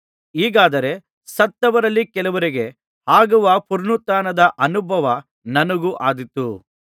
ಹೀಗಾದರೆ ಸತ್ತವರಲ್ಲಿ ಕೆಲವರಿಗೆ ಆಗುವ ಪುನರುತ್ಥಾನದ ಅನುಭವ ನನಗೂ ಆದೀತು